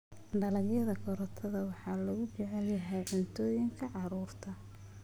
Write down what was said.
Dalagyada karootada waxaa lagu jecel yahay cuntooyinka carruurta.